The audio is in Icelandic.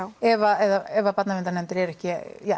ef barnaverndarnefndir eru ekki